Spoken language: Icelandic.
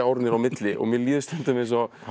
er á milli og mér líður stundum eins og